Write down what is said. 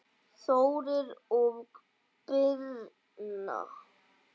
Þórir og Birna.